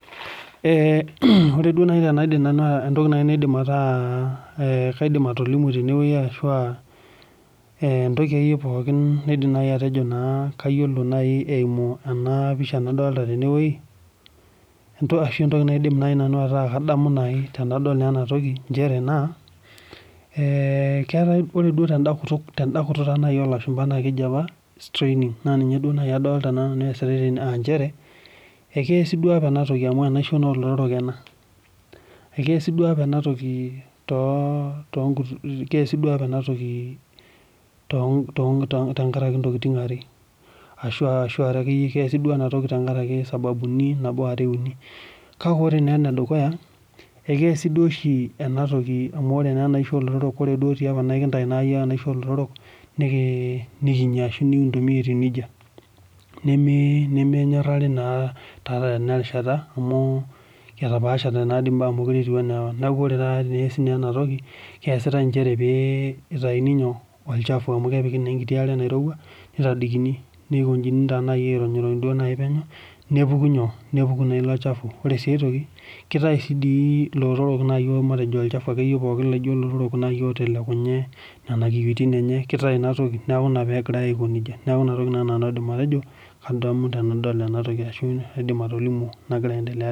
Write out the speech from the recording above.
Ore entoki naidim naanu ataa kalimu tenewueji ashu entoki akeyie pookin najo kayiolo eyimu ena pisha nadolita tenewueji ashu entoki naidim ataa kadamu nanu tenadol ena toki naa ore duo tenkutuk oo lashumba naa keji apa starining naa ninye adolita naa nanu esitai tenewueji naa keasi apa ena toki amu enaishoo naa olotorok keasi duo apa ena toki tenkaraki sababuni are uni kake ore enedukuya ee kiasi oshi ena toki amu ore enaishoo olotorok naa ore apa tiapa ekintayu iyiok enaishoo oo lotorok mikinyia ashu nikintumia eyia nejia nemenyorari naa tanakata Tena rishata amu etaoashate mbaa mekure etieu ena apa neeku oree taata pee eyasi enatoki naa kiasitai pee eitayuni olchafu amu kepiki naa enkiti are nairowua nikojini aironirony penyo nepuku naa elo chafu kake kitayu sii naaji elotorok matejo olchafu akeyieyie laijio elotorok naa kepuku ake otelekunye Nena kiyiotin enye na kepuku kitau ena toki neeku ena pegirai Aiko nejia neeku enatoki naaji nanu aidim atejo kadamu tenadol ena toki ashu nagira aendelea tenadol ena